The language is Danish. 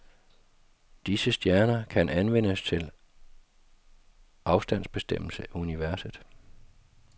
Disse stjerner kan anvendes til afstandsbestemmelse i universet.